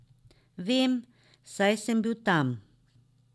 Vem, saj sem bil tam.